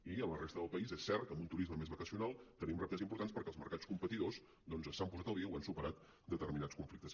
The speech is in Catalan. i a la resta del país és cert que amb un turisme més vacacional tenim reptes importants perquè els mercats competidors doncs s’han posat al dia o han superat determinats conflictes